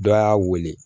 Dɔ y'a wele